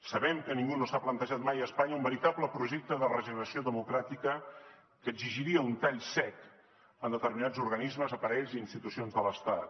sabem que ningú no s’ha plantejat mai a espanya un veritable projecte de regeneració democràtica que exigiria un tall sec en determinats organismes aparells i institucions de l’estat